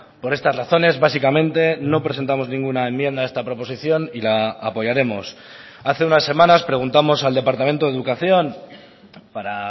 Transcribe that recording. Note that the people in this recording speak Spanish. por estas razones básicamente no presentamos ninguna enmienda a esta proposición y la apoyaremos hace unas semanas preguntamos al departamento de educación para